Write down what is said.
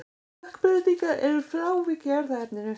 Stökkbreytingar eru frávik í erfðaefninu.